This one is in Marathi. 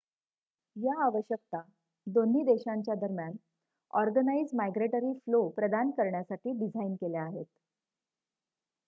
या आवश्यकता दोन्ही देशांच्या दरम्यान ऑर्गनाइझ माइग्रेटरी फ्लो प्रदान करण्यासाठी डिझाईन केल्या आहेत